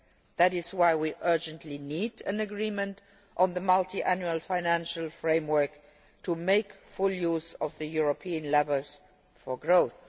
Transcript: That is why we urgently need an agreement on the Multiannual Financial Framework to make full use of the European levers for growth.